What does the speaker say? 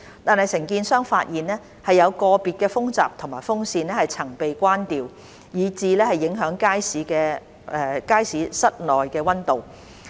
但是，承建商發現，有個別風閘及風扇曾被關掉，以致影響街市室內溫度。